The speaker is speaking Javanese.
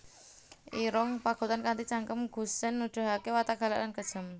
Irung Pagotan kanthi cangkem gusèn nuduhaké watak galak lan kejem